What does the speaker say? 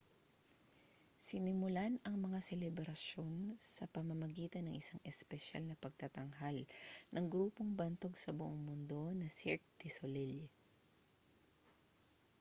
sinimulan ang mga selebrasyon sa pamamagitan ng isang espesyal na pagtatanghal ng grupong bantog sa buong mundo na cirque du soleil